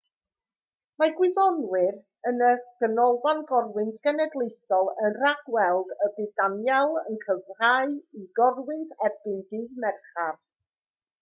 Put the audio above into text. mae gwyddonwyr yn y ganolfan gorwynt genedlaethol yn rhag-weld y bydd danielle yn cryfhau i gorwynt erbyn dydd mercher